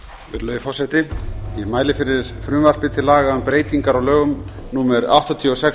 forseti ég mæli fyrir frumvarpi til laga um breytingar á lögum númer áttatíu og sex